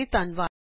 ਸ਼ਾਮਲ ਹੋਣ ਲਈ ਧੰਨਵਾਦ